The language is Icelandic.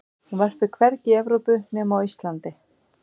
hún verpir hvergi í evrópu nema á íslandi